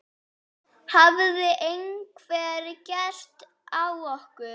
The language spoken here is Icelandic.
Hafði einhver keyrt á okkur?